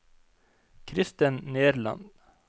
Kristen Nerland